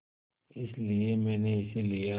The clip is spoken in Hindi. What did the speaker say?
इसलिए मैंने इसे लिया